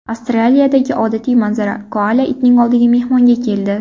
Avstraliyadagi odatiy manzara: koala itning oldiga mehmonga keldi.